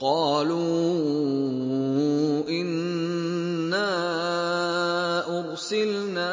قَالُوا إِنَّا أُرْسِلْنَا